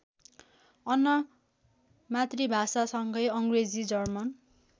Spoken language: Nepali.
अन मातृभाषासँगै अङ्ग्रेजी जर्मन